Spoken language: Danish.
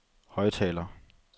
højttaler